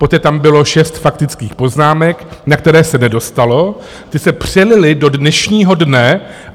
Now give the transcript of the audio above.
Poté tam bylo šest faktických poznámek, na které se nedostalo, ty se přelily do dnešního dne.